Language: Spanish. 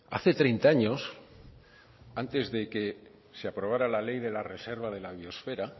hace treinta años antes de que se aprobara la ley de la reserva de la biosfera